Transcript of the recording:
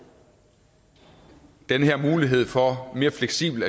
den her mulighed for mere fleksibelt